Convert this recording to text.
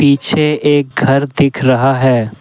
पीछे एक घर दिख रहा है।